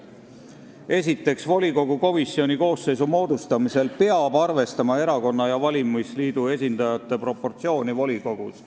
Esiteks, volikogu komisjoni koosseisu moodustamisel peab arvestama erakonna ja valimisliidu esindajate proportsiooni volikogus.